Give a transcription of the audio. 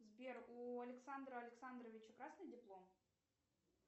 сбер у александра александровича красный диплом